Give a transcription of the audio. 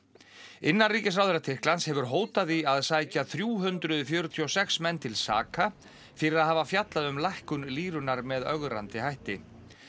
innanríkisráðherra Tyrklands hefur hótað því að sækja þrjú hundruð fjörutíu og sex menn til saka fyrir að hafa fjallað um lækkun með ögrandi hætti